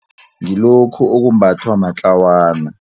Ngilokhu okumbathwa matlawana.